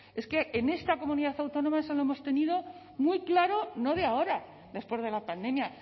es que en esta comunidad autónoma eso lo hemos tenido muy claro no de ahora después de la pandemia